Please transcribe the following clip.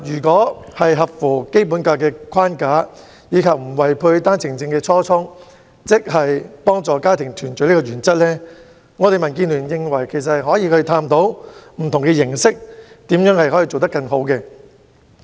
在合乎《基本法》框架，以及不違背單程證幫助家庭團聚初衷的原則下，民主建港協進聯盟認為也可以探討以不同的方式推行措施，研究如何能夠做得更好。